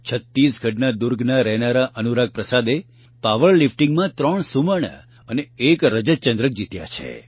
છત્તીસગઢના દુર્ગના રહેનારા અનુરાગ પ્રસાદે પાવરલિફટીંગમાં ૩ સુવર્ણ અને ૧ રજતચંદ્રક જીત્યા છે